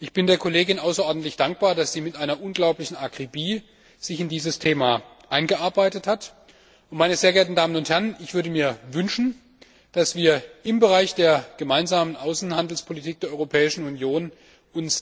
Ich bin der Kollegin außerordentlich dankbar, dass sie sich mit einer unglaublichen Akribie in dieses Thema eingearbeitet hat, und ich würde mir wünschen, dass wir uns im Bereich der Gemeinsamen Außenhandelspolitik der Europäischen Union